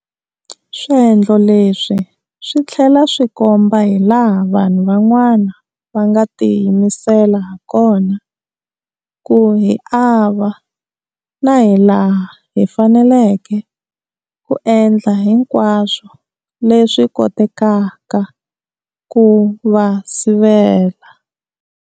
Swendlo leswi swi tlhela swi komba hi laha vanhu van'wana va nga tiyimisela hakona ku hi ava, na hi laha hi faneleke ku endla hinkwaswo leswi kotekaka ku va sivela.